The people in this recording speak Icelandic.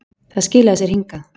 Það skilar sér hingað.